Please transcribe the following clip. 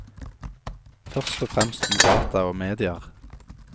Først og fremst om data og medier.